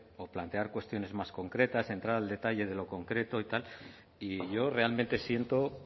o plantear cuestiones más concretas entrar al detalle de lo concreto y tal y yo realmente siento